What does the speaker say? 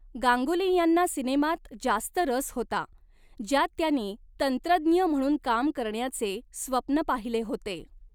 गांगुली यांना सिनेमात जास्त रस होता, ज्यात त्यांनी तंत्रज्ञ म्हणून काम करण्याचे स्वप्न पाहिले होते.